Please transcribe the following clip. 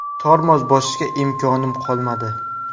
Tormoz bosishga imkonim qolmadi.